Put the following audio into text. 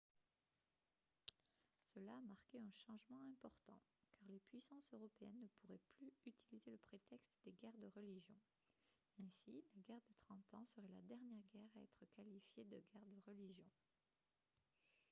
cela a marqué un changement important car les puissances européennes ne pourraient plus utiliser le prétexte des guerres de religion ainsi la guerre de trente ans serait la dernière guerre à être qualifiée de guerre de religion